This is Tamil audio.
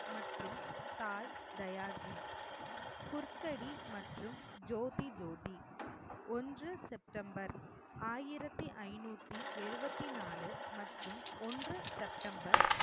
மற்றும் தாய் தயாதி குர்கடி மற்றும் ஜோதி ஜோதி, ஒன்று செப்டெம்பர் ஆயிரத்தி ஐநூத்தி எழுவத்தி நாலு மற்றும் ஒன்று செப்டெம்பர்